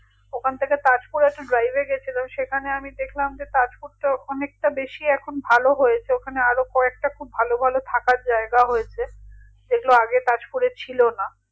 ওখান থেকে তাজপুর একটা drive এ গেছিলাম সেখানে আমি দেখলাম যে তাজপুরটা অনেকটা বেশি এখন ভালো হয়েছে ওখানে আরো কয়েকটা খুব ভালো ভালো থাকার জায়গা হয়েছে যেগুলো আগে তাজপুরে ছিল না